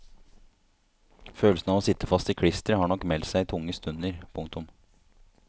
Følelsen av å sitte fast i klisteret har nok meldt seg i tunge stunder. punktum